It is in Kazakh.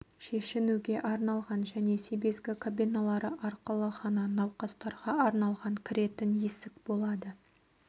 шешінуге арналған және себезгі кабиналары арқылы ғана науқастарға арналған кіретін есік болады